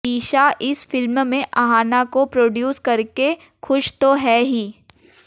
ईशा इस फिल्म में अहाना को प्रोडयूस करके खुश तो हैं ही